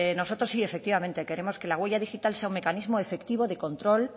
nosotros sí efectivamente queremos que la huella digital sea un mecanismo efectivo de control